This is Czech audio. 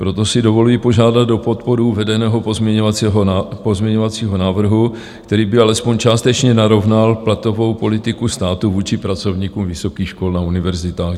Proto si dovoluji požádat o podporu uvedeného pozměňovacího návrhu, který by alespoň částečně narovnal platovou politiku státu vůči pracovníkům vysokých škol na univerzitách.